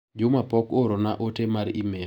Juma pok oorona ote mar imel